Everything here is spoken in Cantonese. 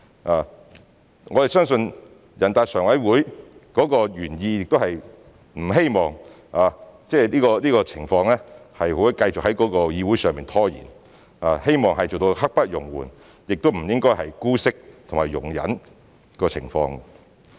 我們相信人大常委會的原意是不希望這個情況繼續在議會內拖延，希望做到刻不容緩，不應姑息及容忍該情況。